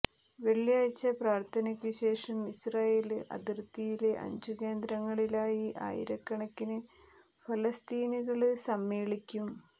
വെള്ളിയാഴ്ച പ്രാര്ഥനയ്ക്കു ശേഷം ഇസ്രായേല് അതിര്ത്തിയിലെ അഞ്ച് കേന്ദ്രങ്ങളിലായി ആയിരക്കണക്കിന് ഫലസ്തീനികള് സമ്മേളിക്കും